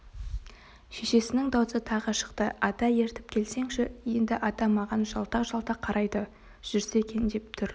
шешесінің даусы тағы шықты ата ертіп келсеңші енді ата маған жалтақ-жалтақ қарайды жүрсе екен деп тұр